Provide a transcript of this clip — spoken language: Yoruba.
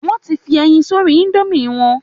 Wọ́n ti fi ẹyin sórí indomie wọn